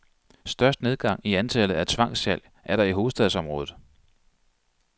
Størst nedgang i antallet af tvangssalg er der i hovedstadsområdet.